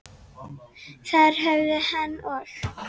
Þar höfðu hann og